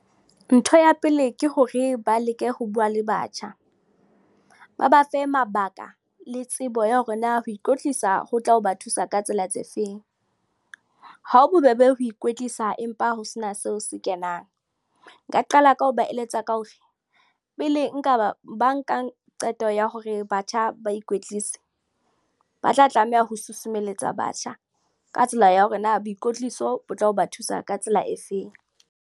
Ntho ya pele ke hore ba leke ho bua le batjha, ba ba fe mabaka le tsebo ya hore na ho ikwetlisa ho tla ho ba thusa ka tsela tse feng. Ha ho bobebe ho ikwetlisa empa ho sena seo se kenang. Nka qala ka ho ba eletsa ka hore pele ba nka qeto ya hore batjha ba ikwetlise ba tla tlameha ho susumelletsa batjha ka tsela ya hore na boikotliso bo tla ho ba thusa ka tsela efeng.